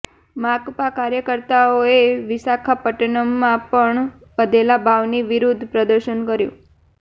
માકપા કાર્યકર્તાઓએ વિશાખાપટ્ટનમમાં પણ વધેલા ભાવની વિરૂદ્ધ પ્રદર્શન કર્યું